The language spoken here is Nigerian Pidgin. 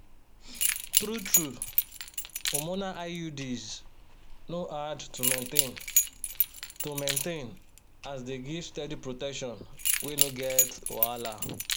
true-true hormonal iuds no hard to maintain to maintain as dey give steady protection wey no get wahala.